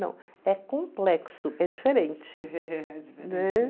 Não, é complexo, é diferente, né?